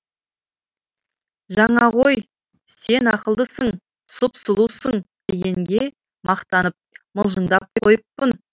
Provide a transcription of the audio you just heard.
жаңа ғой сен ақылдысың сұп сұлусың дегенге мақтанып мылжыңдап қойыппын